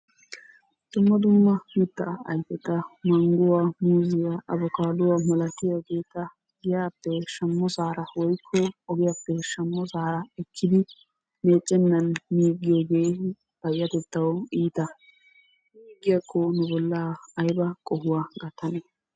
Dumma dumma mittaa ayfeta mangguwaa, muuzziyaa, abokaadduwaa malatiyaageta giyaappe shammosaara woyikko ogiyaappe shammosaara ekkidi meeccennan miiggiyoogee payyatettawu iita miiggiyaakko nu bollaa ayba qohuwaa gattanee?